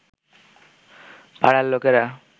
পাড়ার লোকেরা